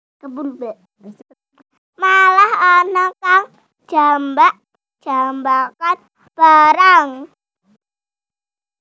Malah ana kang jambak jambakan barang